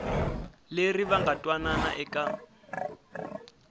leri va nga twanana eka